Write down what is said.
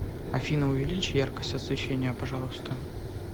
афина увеличь яркость освещения пожалуйста